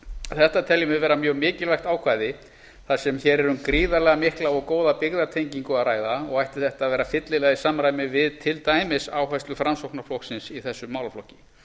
þetta teljum við vera mjög mikilvægt ákvæði þar sem hér er um gríðarlega mikla og góða byggðatengingu að ræða og ætti þetta að vera fyllilega í samræmi við til dæmis á áherslu framsóknarflokksins í þessum málaflokki